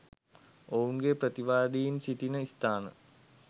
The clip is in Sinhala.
ඔවුන්ගේ ප්‍රතිවාදීන් සිටින ස්ථාන